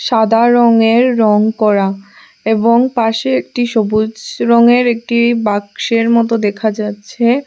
সাদা রঙের রঙ করা এবং পাশে একটি সবুজ রঙের একটি বাক্সের মতো দেখা যাচ্ছে।